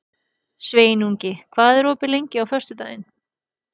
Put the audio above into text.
Sveinungi, hvað er opið lengi á föstudaginn?